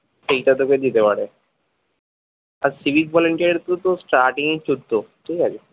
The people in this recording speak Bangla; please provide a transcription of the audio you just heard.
এইটা তোকে দিতে পারে আর civic volunteer এর তো তো starting এই চোদ্দ ঠিকাছে